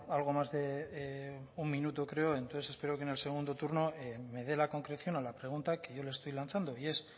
algo más de un minuto creo entonces espero que en el segundo turno me dé la concreción a la pregunta que yo le estoy lanzando y es